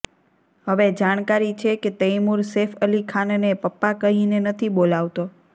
હવે જાણકારી છે કે તૈમૂર સૈફ અલી ખાનને પપ્પા કહીને નથી બોલાવતો